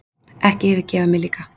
Ekki yfirgefa mig líka.